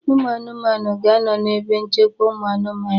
Ụmụ anụmanụ ga-anọ na ebe nchekwa ụmụ anụmanụ